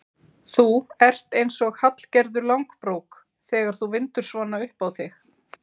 Þú ert eins og Hallgerður langbrók þegar þú vindur svona upp á þig.